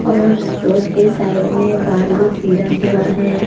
और सोट के साइड में बालू गिरा हुआ है।